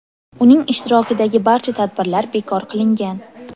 Uning ishtirokidagi barcha tadbirlar bekor qilingan.